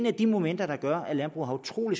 af de momenter der gør at landbruget har utrolig